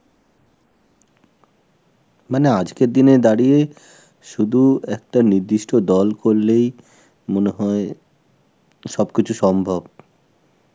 মানে আজকের দিনে দাঁড়িয়ে শুধু একটা নির্দিষ্ট দল করলেই মনে হয় সবকিছু সম্ভব.